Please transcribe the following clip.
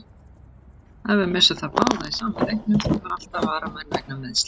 Ef við missum þá báða í sama leiknum, þá þarf alltaf varamann vegna meiðsla.